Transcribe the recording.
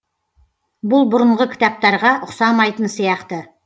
бұл бұрынғы кітаптарға ұқсамайтын сияқты